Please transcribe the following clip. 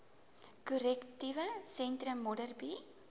korrektiewe sentrum modderbee